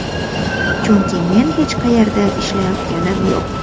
Chunki men hech qayerda ishlayotganim yo‘q.